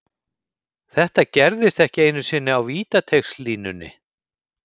Þetta gerðist ekki einu sinni á vítateigslínunni.